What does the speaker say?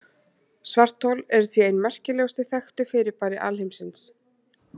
Svarthol eru því ein merkilegustu þekktu fyrirbæri alheimsins.